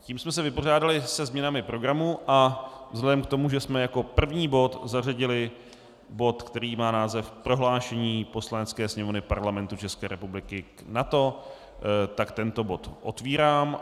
Tím jsme se vypořádali se změnami programu a vzhledem k tomu, že jsme jako první bod zařadili bod, který má název Prohlášení Poslanecké sněmovny Parlamentu České republiky k NATO, tak tento bod otevírám.